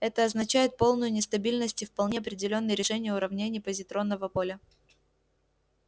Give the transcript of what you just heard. это означает полную нестабильность и вполне определённые решения уравнений позитронного поля